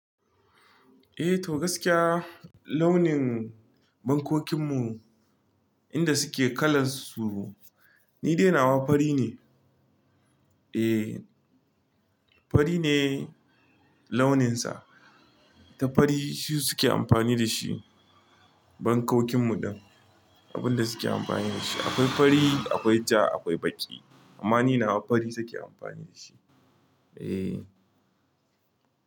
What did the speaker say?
Eh to gaskiya launin bankokinmu inda suke kalan su ni dai nawa fari ne. Eh fari ne launinsa ta fari su suke amfani da shi bankokinmu din. Abinda suke amfani da shi akwai fari, akwai ja, akwai baƙi amma ni nawa fari suke amfani da shi. Eh.